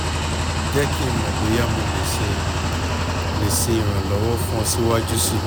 jẹ ki n mọ boya mo le ṣe le ṣe iranlọwọ fun ọ siwaju sii